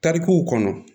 Tarikuw kɔnɔ